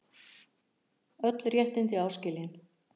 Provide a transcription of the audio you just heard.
Öll réttindi áskilin.